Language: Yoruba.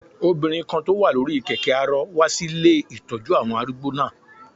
Obìnrin kan tó wà lórí kẹ̀kẹ́ arọ wá sí ilé ìtọ́jú àwọn arúgbó náà